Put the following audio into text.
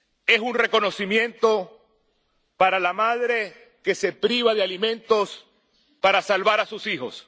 Es un reconocimiento para la madre que se priva de alimentos para salvar a sus hijos